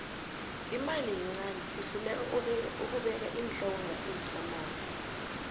imali yincani sihluleka ukubeka iinhloko ngaphezu kwamanzi